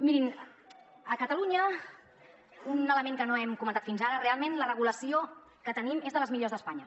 mirin a catalunya un element que no hem comentat fins ara realment la regulació que tenim és de les millors d’espanya